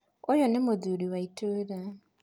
Ũyũ nĩ mũthuri wa itũũra.